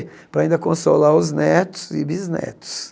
Para ainda consolar os netos e bisnetos.